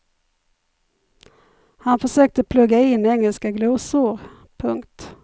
Han försökte plugga in engelska glosor. punkt